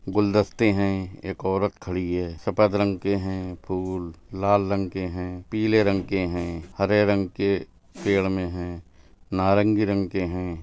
गुलदस्ते है एक औरत खड़ी है सफेद रंग के है फूल| लाल रंग के है पीले रंग के है हरे रंग के पेड़ मे है नारंगी रंग है।